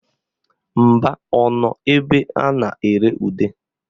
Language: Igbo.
Mba, ọ nọ ebe a na-ere ude